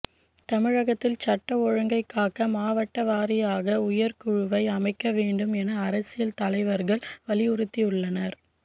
தமிழகத்தில் சட்டம் ஒழுங்கை காக்க மாவட்ட வாரியாக உயர்குழுவை அமைக்க வேண்டும் என அரசியல் தலைவர்கள் வலியுறுத்தியுள்ளனர்